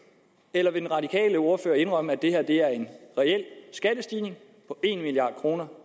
eller vil den radikale ordfører indrømme at det her er en reel skattestigning på en milliard kroner